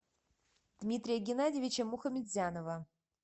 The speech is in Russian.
дмитрия геннадьевича мухаметзянова